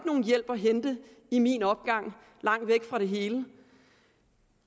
nogen hjælp at hente i min opgang langt væk fra det hele